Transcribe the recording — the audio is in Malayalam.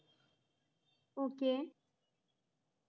okay